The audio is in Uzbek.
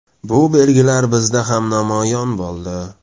Bu belgilar bizda ham namoyon bo‘ldi.